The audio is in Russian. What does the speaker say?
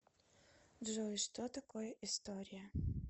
джой что такое история